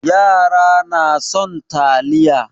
Yara na son taliya.